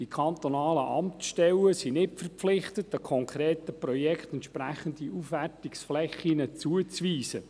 Die kantonalen Amtsstellen sind nicht verpflichtet, einem konkreten Projekt entsprechende Aufwertungsflächen zuzuweisen.